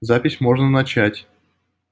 запись можно начать